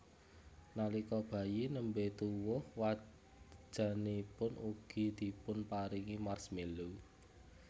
Nalika bayi nembé tuwuh wajanipun ugi dipunparingi marshmallow